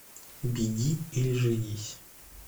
беги или женись